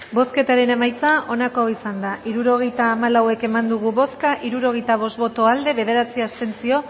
bozketaren emaitza onako izan da hirurogeita hamalau eman dugu bozka hirurogeita bost boto aldekoa bederatzi abstentzio